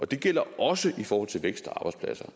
det gælder også i forhold til vækst